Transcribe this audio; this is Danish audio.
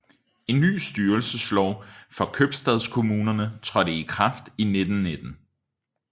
En ny styrelseslov for købstadkommunerne trådte i kraft i 1919